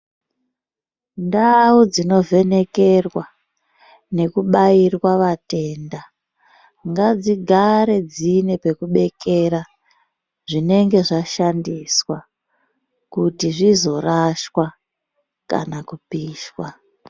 Ndau dzinovhenekerwa nekubayirwa vatenda, ngadzigare dzine bekubekera zvinenge zvashandiswa, kuti zvizvorashwa kana kupishwa.